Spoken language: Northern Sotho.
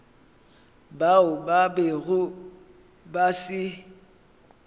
bao ba bego ba se